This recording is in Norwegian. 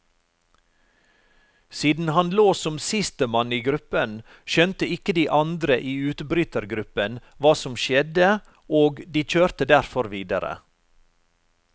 Siden han lå som sistemann i gruppen, skjønte ikke de andre i utbrytergruppen, hva som skjedde og de kjørte derfor videre.